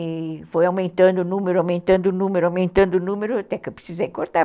E foi aumentando o número, aumentando o número, aumentando o número, até que eu precisei cortar,